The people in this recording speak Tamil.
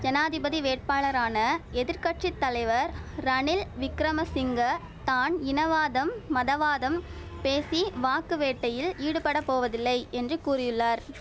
ஜனாதிபதி வேட்பாளரான எதிர் கட்சி தலைவர் ரணில் விக்கிரமசிங்க தான் இனவாதம் மதவாதம் பேசி வாக்கு வேட்டையில் ஈடுபடப் போவதில்லை என்று கூறியுள்ளார்